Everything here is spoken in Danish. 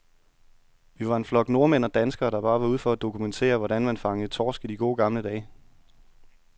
Vi var en flok nordmænd og danskere, der bare var ude for at dokumentere, hvordan man fangede torsk i de gode, gamle dage.